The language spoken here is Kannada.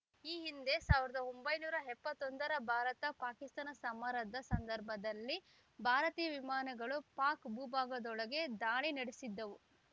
ಈ ಹಿಂದೆ ಸಾವಿರದ ಒಂಬೈನೂರ ಎಪ್ಪತ್ತೊಂದರ ಭಾರತ ಪಾಕಿಸ್ತಾನ ಸಮರದ ಸಂದರ್ಭದಲ್ಲಿ ಭಾರತೀಯ ವಿಮಾನಗಳು ಪಾಕ್‌ ಭೂಭಾಗದೊಳಗೆ ದಾಳಿ ನಡೆಸಿದ್ದವು